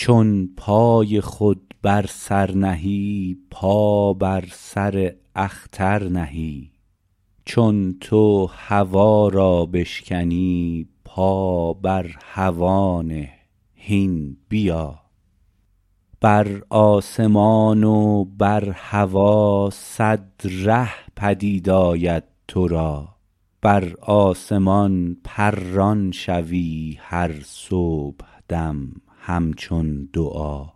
چون پای خود بر سر نهی پا بر سر اختر نهی چون تو هوا را بشکنی پا بر هوا نه هین بیا بر آسمان و بر هوا صد ره پدید آید تو را بر آسمان پران شوی هر صبحدم همچون دعا